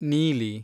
ನೀಲಿ